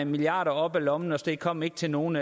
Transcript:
milliarder op af lommen og det kom ikke til nogen